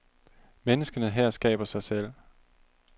Menneskene her skaber sig selv.